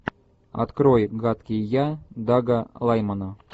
открой гадкий я дага лаймана